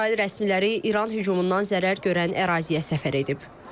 İsrail rəsmiləri İran hücumundan zərər görən əraziyə səfər edib.